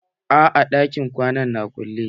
A'a ɗakin kwanan na kulle.